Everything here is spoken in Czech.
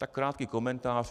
Tak krátký komentář.